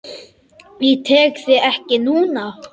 Ég tek þig ekki núna.